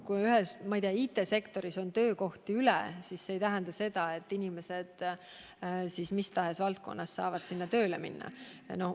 Kui ühes valdkonnas, näiteks IT-sektoris on töökohti üle, siis see ei tähenda seda, et mis tahes valdkonna inimesed saaksid sinna tööle minna.